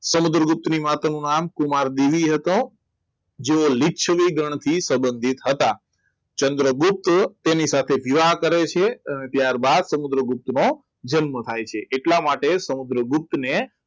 સમુદ્રગુપ્ત ની માતા નુ નામ કુમાર બેલી હતા. જોવો લીછવી ગણથી સંબંધી હતા. ચંદ્રગુપ્ત તેની સાથે વિવાહ કરે છે ત્યારબાદ સમુદ્રગુપ્તનો જન્મ થાય છે એટલા માટે સમુદ્રગુપ્ત ને